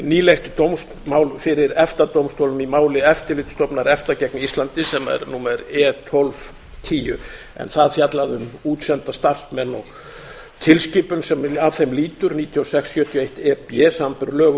nýlegt dómsmál fyrir efta dómstólnum í máli eftirlitsstofnunar efta gegn íslandi sem er númer e tólf tíu en það fjallaði um útsenda starfsmenn og tilskipun sem að þeim lýtur níutíu og sex sjötíu og eitt e b samanber lög um